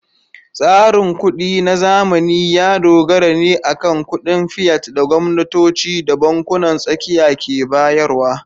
Tsarin kuɗi na zamani ya dogara ne akan kuɗin fiat da gwamnatoci da bankunan tsakiya ke bayarwa.